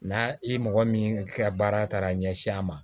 N'a i mɔgɔ min ka baara taara ɲɛsin a ma